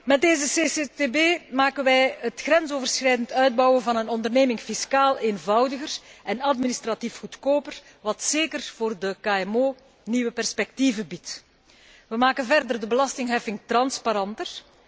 Met deze CCCTB maken wij het grensoverschrijdend uitbouwen van een onderneming fiscaal eenvoudiger en administratief goedkoper, wat zeker voor de KMO nieuwe perspectieven biedt. Wij maken verder de belastingheffing transparanter.